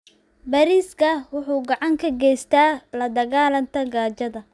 Bariiska wuxuu gacan ka geystaa la dagaallanka gaajada.